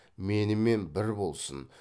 менімен бір болсын